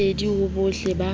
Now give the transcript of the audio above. ka lesedi ho bohle ba